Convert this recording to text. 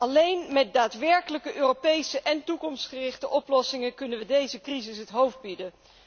Alleen met daadwerkelijk Europese en toekomstgerichte oplossingen kunnen we deze crisis het hoofd bieden.